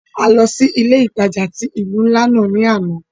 A lọ si ile-itaja ti ilu nla náa ni ana.